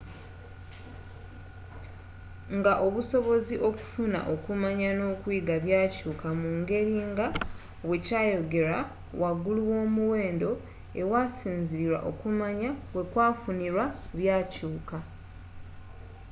nga obusobozi okufuna okumanya n'okuyiga byakyuuka mungeri nga bwe kyayogerwa waggulu womuwendo ewasinzilirirwa okumanya wekwafunirwa byakyuka